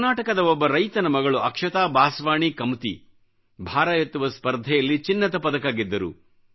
ಕರ್ನಾಟಕದ ಒಬ್ಬ ರೈತನ ಮಗಳು ಅಕ್ಷತಾ ಬಾಸವಾಣಿ ಕಮತಿ ಭಾರ ಎತ್ತುವ ಸ್ಪರ್ಧೆಯಲ್ಲಿ ಚಿನ್ನದ ಪದಕ ಗೆದ್ದರು